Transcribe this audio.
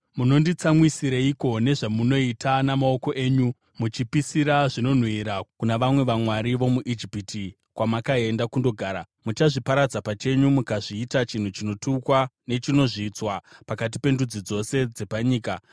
Munonditsamwisireiko nezvamunoita namaoko enyu, muchipisira zvinonhuhwira kuna vamwe vamwari vomuIjipiti kwamakaenda kundogara? Muchazviparadza pachenyu mukazviita chinhu chinotukwa nechinozvidzwa pakati pendudzi dzose dzepanyika.